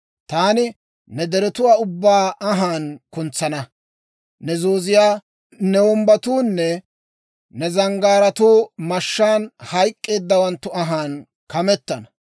Taani ne deretuwaa ubbaa anhaan kuntsana; ne zooziyaa, ne wombbatuunne ne zanggaaratuu mashshaan hayk'k'eeddawanttu anhaan kametana.